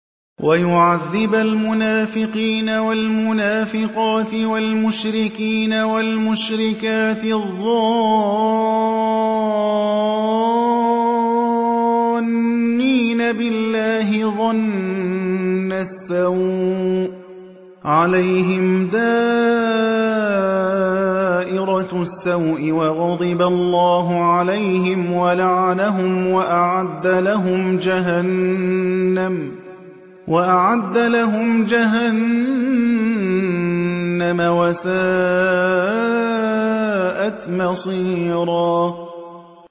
وَيُعَذِّبَ الْمُنَافِقِينَ وَالْمُنَافِقَاتِ وَالْمُشْرِكِينَ وَالْمُشْرِكَاتِ الظَّانِّينَ بِاللَّهِ ظَنَّ السَّوْءِ ۚ عَلَيْهِمْ دَائِرَةُ السَّوْءِ ۖ وَغَضِبَ اللَّهُ عَلَيْهِمْ وَلَعَنَهُمْ وَأَعَدَّ لَهُمْ جَهَنَّمَ ۖ وَسَاءَتْ مَصِيرًا